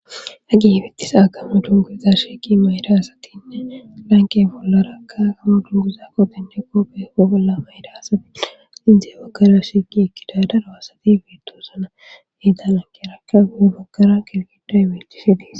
Hagi hifittisa agamo dunguza shieki mayda asatinne lanke bollaraka agamo dunguza qopinjeko beeko bolla mayda asati izee bakara shigi ekkida daro asati bietosana heeda lankeraka gu bakara qirgida imechisi diis.